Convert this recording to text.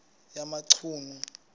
yamachunu